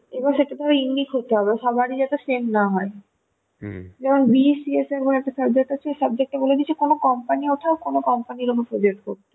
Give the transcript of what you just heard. এবার সেটা তোমার unique হতে হবে সবার ই যাতে same না হয়, যেমন VECS নামে একটা subject আছে ওই subject তে বলে দিয়েছে কোনো company অথবা কোনো company suggest করতে ,